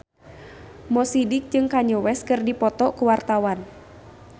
Mo Sidik jeung Kanye West keur dipoto ku wartawan